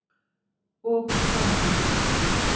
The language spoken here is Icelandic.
Og hvað kom út úr því?